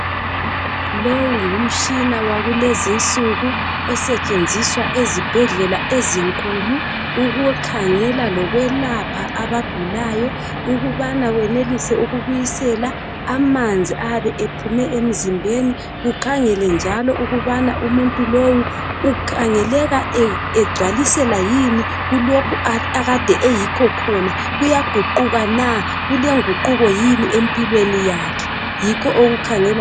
Lowu ngumtshina wakulezi nsuku. Osetshenziswa ezibhedlela ezinkulu ukukhangela lokwelapha abagulayo, ukubana wenelise ukubisela amanzi ayabe ephume emzimbeni. Ukhangele njalo ukubana umuntu lowu ukhangeleka egcwalisela yini kulokho ekade eyikho khona. Kuyaguquka na, kulenguquko yini empilweni yakhe. Yikho okukhangelwa.